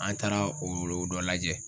An taara o o dɔ lajɛ